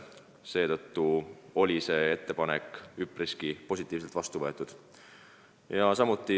Seetõttu oli see ettepanek üpriski positiivselt vastu võetud.